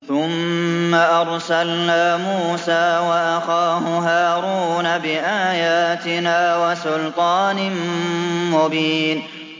ثُمَّ أَرْسَلْنَا مُوسَىٰ وَأَخَاهُ هَارُونَ بِآيَاتِنَا وَسُلْطَانٍ مُّبِينٍ